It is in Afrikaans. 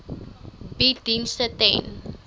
bied dienste ten